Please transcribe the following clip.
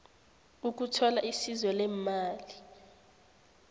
ukuthola isizo leemali